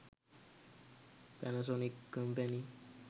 panasonic company